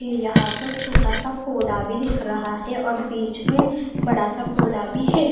ये यहां पर छोटा सा पौधा भी दिख रहा है और बीच में बड़ा सा पौधा भी है।